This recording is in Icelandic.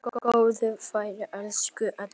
Góða ferð, elsku Edda.